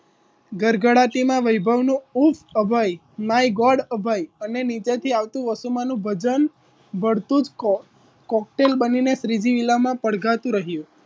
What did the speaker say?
ગડગડાતી વૈભવી નો ઉફ અભય my god અભય અને નીચેથી આવતું વસુમાનું ભજન ભળતું જ કોકટેલ બની શ્રીજી વિલામાં પડઘા તુ રહ્યું